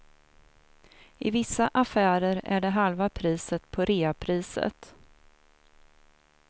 I vissa affärer är det halva priset på reapriset.